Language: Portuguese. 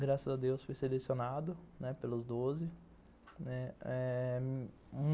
Graças a Deus fui selecionado pelos doze, né.